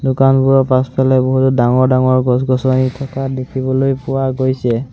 দোকানবোৰৰ পাছফালে বহুতো ডাঙৰ ডাঙৰ গছ-গছনি থকা দেখিবলৈ পোৱা গৈছে।